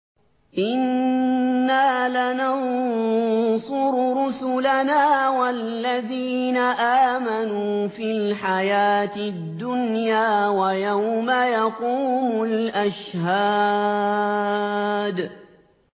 إِنَّا لَنَنصُرُ رُسُلَنَا وَالَّذِينَ آمَنُوا فِي الْحَيَاةِ الدُّنْيَا وَيَوْمَ يَقُومُ الْأَشْهَادُ